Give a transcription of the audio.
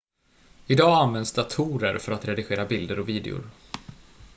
idag används datorer för att redigera bilder och videor